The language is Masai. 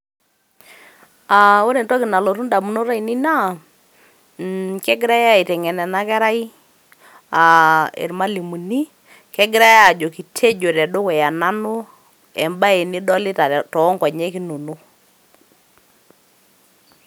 Aa ore entoki nalotu ndamunot ainei naa kegirai aiteng'en ena kerai aa irmalimuni, kegirai aajoki tejo tedukuya nanu embae nidolita too nkonyek inonok.